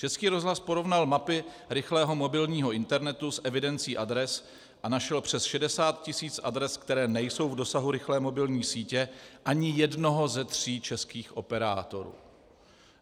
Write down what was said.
Český rozhlas porovnal mapy rychlého mobilního internetu s evidencí adres a našel přes 60 tisíc adres, které nejsou v dosahu rychlé mobilní sítě ani jednoho ze tří českých operátorů.